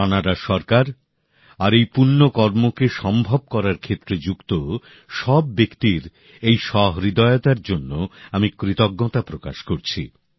কানাডার সরকার আর এই পুণ্য কর্মকে সম্ভব করার ক্ষেত্রে যুক্ত সব ব্যক্তির এই সহৃদয়তার জন্য আমি কৃতজ্ঞতা প্রকাশ করছি